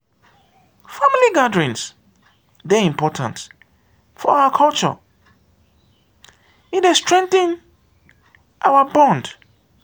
family gatherings dey important for our culture e dey strengthen our bond.